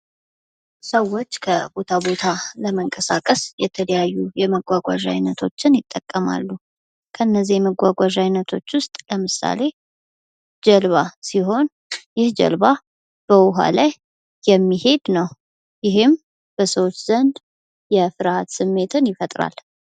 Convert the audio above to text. ሰዎች ከቦታ ቦታ ለመንቀሳቀስ የተለያዩ የመጓጓዣ አይነቶች ይጠቀማሉ። ከነዚህ የመጓጓዣ አይነቶች ውስጥ ለምሳሌ ፦ጀልባ ሲሆን ይህ ጀልባ በውሃ ላይ የሚሄድ ነው። ይህም በሰዎች ዘንድ የፍርሃት ስሜትን ይፈጥራል።